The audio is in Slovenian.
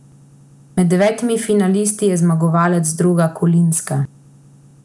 Med devetimi finalisti je zmagovalec Droga Kolinska.